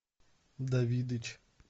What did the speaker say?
давидыч